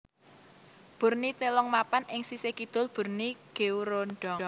Bur ni Telong mapan ing sisih kidul Bur ni Geureundong